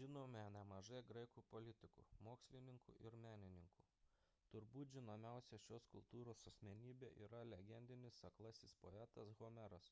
žinome nemažai graikų politikų mokslininkų ir menininkų turbūt žinomiausia šios kultūros asmenybė yra legendinis aklasis poetas homeras